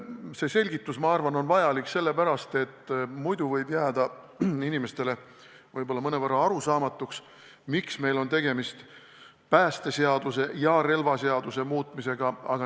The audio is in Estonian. See selgitus on minu arvates vajalik sellepärast, et muidu võib inimestel jääda mõnevõrra arusaamatuks, miks on meil tegemist päästeseaduse ja relvaseaduse muutmisega.